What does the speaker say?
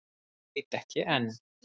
Og veit ekki enn.